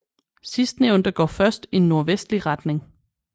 Sidstnævnte går først i nordvestlig retning